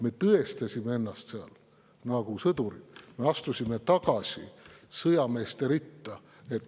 Me tõestasime ennast seal nagu sõdurid, me astusime tagasi sõjameeste ritta.